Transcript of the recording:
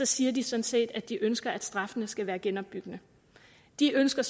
siger de sådan set at de ønsker at straffene skal være genopbyggende de ønsker